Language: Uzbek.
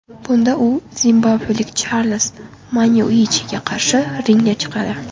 Bunda u zimbabvelik Charles Manyuichiga qarshi ringga chiqadi.